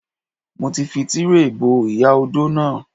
Mo ti fi Tíréè bo ìyá odó náà.